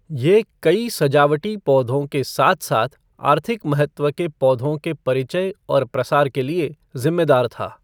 ये कई सजावटी पौधों के साथ साथ आर्थिक महत्व के पौधों के परिचय और प्रसार के लिए जिम्मेदार था।